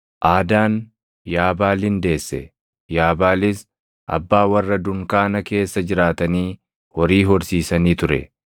Aadaan Yaabaalin deesse; Yaabaalis abbaa warra dunkaana keessa jiraatanii horii horsiisanii ture.